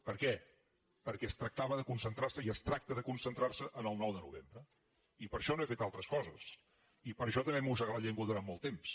per què perquè es tractava de concentrar se i es tracta de concentrar se en el nou de novembre i per això no he fet altres coses i per això també m’he mossegat la llengua durant molt temps